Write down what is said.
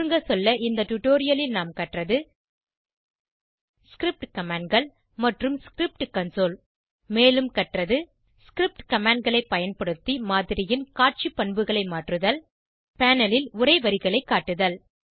சுருங்கசொல்ல இந்த டுடோரியலில் நாம் கற்றது ஸ்கிரிப்ட் Commandகள் மற்றும் ஸ்கிரிப்ட் கன்சோல் மேலும் கற்றது ஸ்கிரிப்ட் commandகளை பயன்படுத்தி மாதிரியின் காட்சி பண்புகளை மாற்றுதல் பேனல் ல் உரை வரிகளை காட்டுதல்